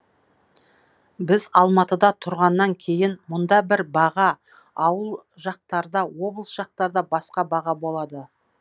біз алматыда тұрғаннан кейін мұнда бір баға ауыл жақтарда облыс жақтарда басқа баға болады